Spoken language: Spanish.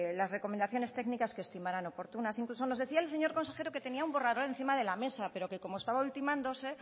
las recomendaciones técnicas que estimaron oportunas incluso nos decía el señor consejero que tenía un borrador encima de la mesa pero que como estaba ultimándose